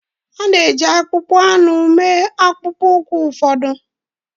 A na-eji akpụkpọ anụ mee akpụkpọ ụkwụ ụfọdụ